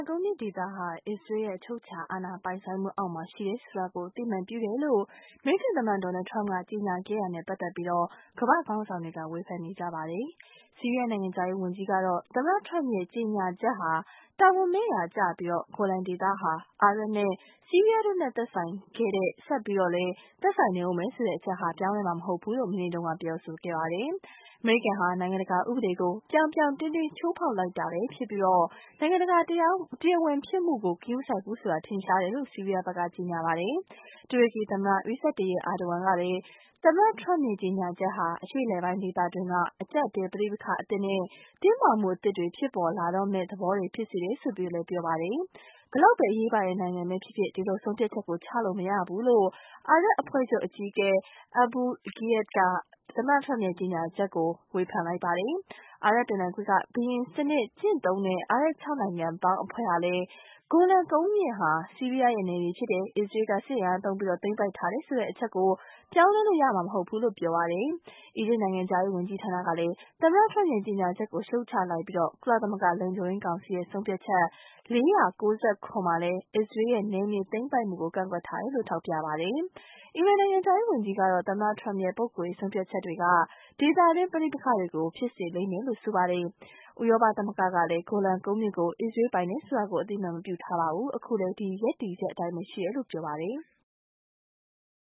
ကုန်းမြင့်ဒေသဟာ အစ္စရေးရဲ့အချုပ်အခြာ အာဏာပိုင်ဆိုင်မှုအောက်မှာ ရှိတယ်ဆိုတာကို အသိအမှတ်ပြုတယ်လို့ အမေရိကန်သမ္မတ Donald Trump က ကြေညာခဲ့တာနဲ့ပတ်သက်ပြီး ကမ္ဘာ့ခေါင်းဆောင်တွေက ဝေဖန်နေကြပါတယ်။ ဆီးရီးယား နိုင်ငံခြားရေးဝန်ကြီးကတော့ သမ္မတ Trump ရဲ့ ကြေညာချက်ဟာ တာဝန်မဲ့ရာကျပြီး ဂိုလန်ဒေသဟာ အာရပ်နဲ့ ဆီးရီးယားတို့နဲ့ သက်ဆိုင်ခဲ့တဲ့ ဆက်ပြီးတော့လည်း သက်ဆိုင်နေဦးမယ်ဆိုတဲ့ အချက်ဟာ ပြောင်းလဲမှာ မဟုတ်ဘူးလို့မနေ့က ပြောခဲ့ပါတယ်။ အမေရိကန်ဟာ နိုင်ငံတကာ ဥပဒေကို ပြောင်ပြောင်တင်းတင်း ချိုးဖေါက်လိုက်တာပဲဖြစ်ပြီး နိုင်ငံတကာ တရားဝင်ဖြစ်မှုကို ဂရုမစိုက်ဘူးဆိုတာ ထင်ရှားတယ်လို့ ဆီးရီးယားဘက်က ကြေညာပါတယ်။ တူရကီသမ္မတ Tayyip Erdogan ကလည်း သမ္မတထရမ့်ရဲ့ကြေညာချက်ဟာ အရှေ့အလယ်ပိုင်းဒေသတွင်းမှာ အကျပ်အတည်း ပဋိပက္ခအသစ်နဲ့ တင်းမာမှုအသစ်တွေ ဖြစ်ပေါ်လာတော့မယ့် သဘောတွေ ဖြစ်သွားစေတယ်လို့ ဆိုပါတယ်။ ဘယ်လောက်ပဲ အရေးပါတဲ့နိုင်ငံပဲဖြစ်ဖြစ် ဒီလိုဆုံးဖြတ်ချက်ကို ချလို့မရဘူးလို့ အာရပ်အဖွဲ့ချုပ် အကြီးအကဲ Aboul Gheit က သမ္မတTrump ရဲ့ကြေညာချက်ကိုဝေဖန်ပါတယ်။ အာရပ်ပင်လယ်ကွေ့က ဘုရင်စံနစ်ကျင့်သုံးတဲ့ အာရပ် ၆ နိုင်ငံပေါင်း အဖွဲ့ကလည်း ဂိုလန် ကုန်းမြင့်ဟာ ဆီးရီးယားရဲ့နယ်မြေဖြစ်တယ်။ အစ္စရေးက စစ်အင်အားသုံးပြီး သိမ်းပိုက်ထားတယ်ဆိုတဲ့ အချက်ကိုပြောင်းလဲလို့ရမှာ မဟုတ်ဘူးလို့ ဆိုပါတယ်။ အီဂျစ်နိုင်ငံခြားရေး ဝန်ကြီးဌာနကလည်း သမ္မတ Trump ရဲ့ကြေညာချက်ကို ရှုတ်ချလိုက်ပြီး ကုလသမဂ္ဂ လုံခြုံရေးကောင်စီရဲ့ ဆုံးဖြတ်ချက် ၄၉၇ မှာလည်း အစ္စရေးရဲ့ နယ်မြေသိမ်းပိုက်မှုကို ကန့်ကွက်ထားတယ်လို့ ထောက်ပြပါတယ်။ အီရန်နိုင်ငံခြားရေး ဝန်ကြီးကတော့ သမ္မတ Trump ရဲ့ ပုဂ္ဂိုလ်ရေး ဆုံးဖြတ်ချက်တွေက ဒေသတွင်း ပဋိပက္ခတွေကို ဖြစ်စေလိမ့်မယ်လို့ ဆိုပါတယ်။ ဥရောပသမဂ္ဂကလည်း ဂိုလန်ကုန်းမြင့်ကို အစ္စရေး ပိုင်တယ်ဆိုတာကို အသိအမှတ် ပြုမထားပါဘူး။ အခုလည်း ဒီရပ်တည်ချက် အတိုင်းရှိတယ်လို့ ဆိုပါတယ်။